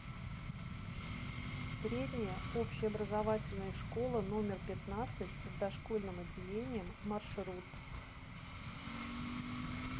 средняя общеобразовательная школа номер пятнадцать с дошкольным отделением маршрут